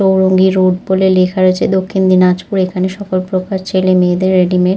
Chowringhee road বলে লেখা রয়েছে দক্ষিণ দিনাজপুর। এখানে সকল প্রকার ছেলে মেয়েদের রেডি মেড --